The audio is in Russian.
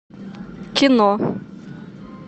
кино